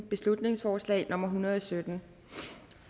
beslutningsforslag nummer hundrede og sytten